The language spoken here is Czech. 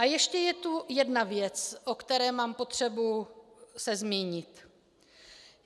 A ještě je tu jedna věc, o které mám potřebu se zmínit.